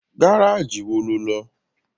Gárájì wo lo lọ?